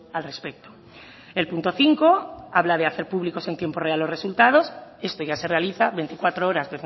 al respecto el punto cinco habla de hacer públicos en tiempo real los resultados esto ya se realiza veinticuatro horas